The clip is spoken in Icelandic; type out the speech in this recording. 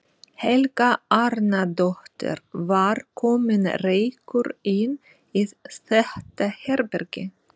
Helga Arnardóttir: Var kominn reykur inn í þetta herbergi?